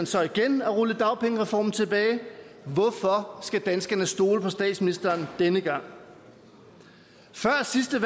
så igen at rulle dagpengereformen tilbage hvorfor skal danskerne stole på statsministeren denne gang før sidste